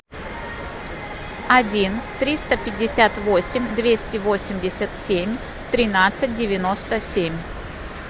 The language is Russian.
один триста пятьдесят восемь двести восемьдесят семь тринадцать девяносто семь